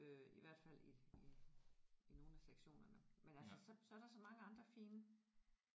Øh i hvert fald i i i nogle af sektionerne men altså så så er der så mange andre fine